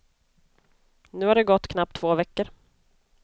Nu har det gått knappt två veckor.